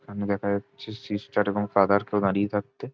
এখানে দেখা যাচ্ছে সিস্টার এবং ফাদার কেও দাঁড়িয়ে থাকতে।